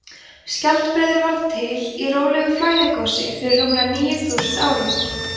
skjaldbreiður varð til í rólegu flæðigosi fyrir rúmlega níu þúsund árum